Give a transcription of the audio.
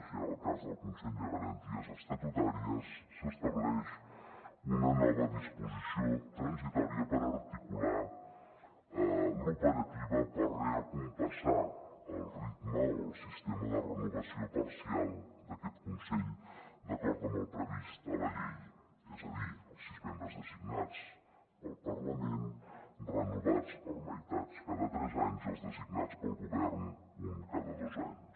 i en el cas del consell de garanties estatutàries s’estableix una nova disposició transitòria per articular l’operativa per recompassar el ritme o el sistema de renovació parcial d’aquest consell d’acord amb el previst a la llei és a dir els sis membres designats pel parlament renovats per meitats cada tres anys i els designats pel govern un cada dos anys